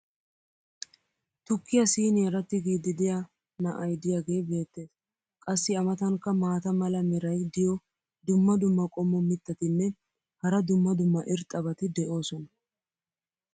Tukkiya siiniyaara tigiidi diya na"ay diyaagee beetees. qassi a matankka maata mala meray diyo dumma dumma qommo mitattinne hara dumma dumma irxxabati de'oosona.